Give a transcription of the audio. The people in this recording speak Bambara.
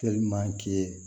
Teliman ki ye